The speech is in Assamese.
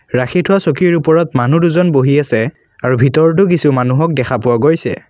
ৰাখি থোৱা চকীৰ ওপৰত মানুহ দুজন বহি আছে আৰু ভিতৰতো কিছু মানুহক দেখা পোৱা গৈছে।